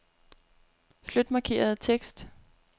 Flyt markerede tekst.